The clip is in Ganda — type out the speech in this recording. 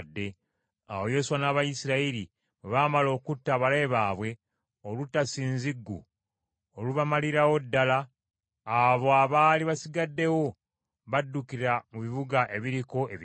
Awo Yoswa n’Abayisirayiri bwe baamala okutta abalabe baabwe olutta ssinziggu olubamalirawo ddala, abo abaali basigaddewo baddukira mu bibuga ebiriko ebigo,